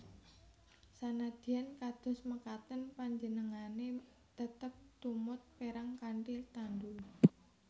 Sanadyan kados mekaten panjenengane tetep tumut perang kanthi tandu